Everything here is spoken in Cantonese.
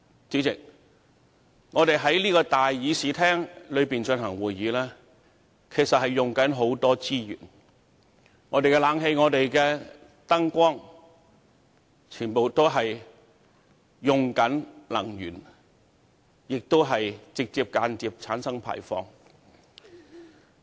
主席，我們在這個議事廳進行會議，其實消耗很多資源，包括冷氣、燈光等，這些全部耗費能源，且直接及間接地產生碳排放。